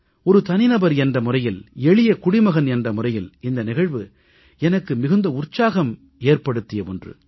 ஒரு தனிநபர் என்ற முறையில் எளிய குடிமகன் என்ற முறையில் இந்த நிகழ்வு எனக்கு அதிக உற்சாகம் ஏற்படுத்திய ஒன்று